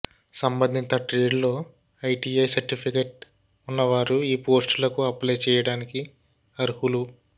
సంబంధిత ట్రేడ్లో ITI certificate ఉన్నవారు ఈ పోస్టులకు అప్లై చేయడానికి అర్హులు